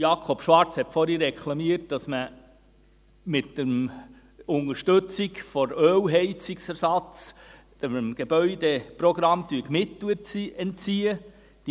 Jakob Schwarz hat vorhin reklamiert, dass man mit der Unterstützung des Ölheizungsersatzes dem Gebäudeprogramm Mittel entziehen würde.